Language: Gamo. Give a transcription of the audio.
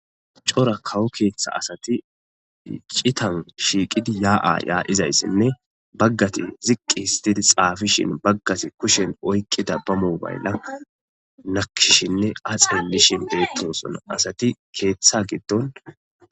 cora kawo keeththa asati citan shiiqidi yaa7a yaadhizayssinne baggati ziqqi histidi xaafishin baggati kushen oykkida bamu baylla nakshinne axelishin deettoson asati keeththa giddon.